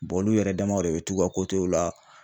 olu yɛrɛ damaw de be t'u ka w la